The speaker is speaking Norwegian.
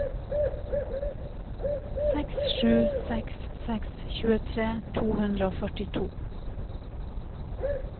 seks sju seks seks tjuetre to hundre og førtito